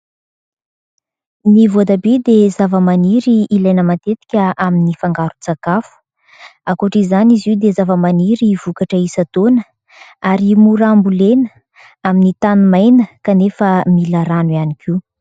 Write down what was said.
Ny voatabia dia zavamaniry ilaina matetika amin'ny fangaron-tsakafo ; ankoatra izany izy io dia zavamaniry vokatra isan-taona ary mora ambolena amin'ny tany maina, kanefa mila rano ihany koa.